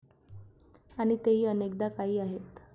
आणि तेही अनेकदा काही आहेत.